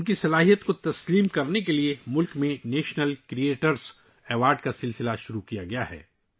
ان کی صلاحیتوں کے اعتراف کے لیے ، ملک میں نیشنل کریئیٹرز ایوارڈ شروع کیا گیا ہے